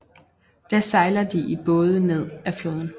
Da sejler de i både ned af floden